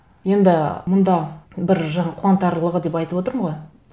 енді мұнда бір жаңа қуантарлығы деп айтып отырмын ғой